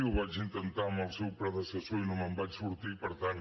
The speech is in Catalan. ho vaig intentar amb el seu predecessor i no me’n vaig sortir per tant